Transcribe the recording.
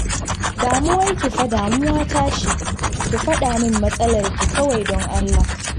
Damuwarki fa damuwata ce, ki fada min matsalarki kawai don Allah